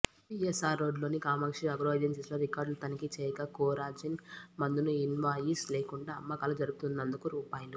PSR రోడ్డులోని Kamakshi agro ఏజెన్సీస్లో రికార్డుల తనిఖీ చేయగా కోరాజిన్ మందును ఇన్వాయిస్ లేకుండా అమ్మకాలు జరుపుతున్నందుకు రూ